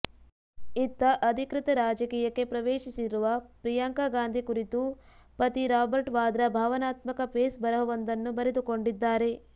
ಇತ್ತ ಅಧಿಕೃತ ರಾಜಕೀಯಕ್ಕೆ ಪ್ರವೇಶಿಸಿರುವ ಪ್ರಿಯಾಂಕಾ ಗಾಂಧಿ ಕುರಿತು ಪತಿ ರಾಬರ್ಟ್ ವಾದ್ರಾ ಭಾವನಾತ್ಮಕ ಫೇಸ್ ಬರಹವೊಂದನ್ನು ಬರದುಕೊಂಡಿದ್ದಾರೆ